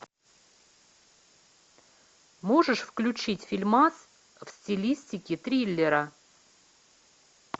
можешь включить фильмас в стилистике триллера